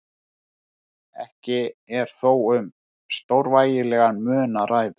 Ekki er þó um stórvægilegan mun að ræða.